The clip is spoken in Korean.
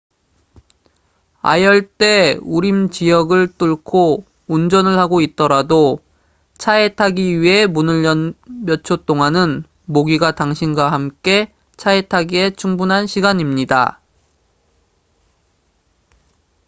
아열대 우림 지역을 뚫고 운전을 하고 있더라도 차에 타기 위해 문을 연 몇 초 동안은 모기가 당신과 함께 차에 타기에 충분한 시간입니다